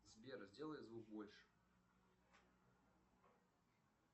сбер сделай звук больше